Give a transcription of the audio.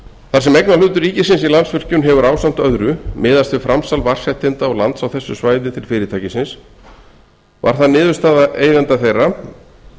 sem eignarhlutur ríkisins í landsvirkjun hefur ásamt öðru miðast við framsal vatnsréttinda og lands á þessu svæði til fyrirtækisins varð að niðurstaða eigenda þeirra